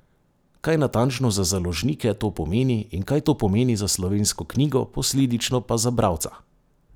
Kaj natančno za založnike to pomeni in kaj to pomeni za slovensko knjigo, posledično pa za bralca?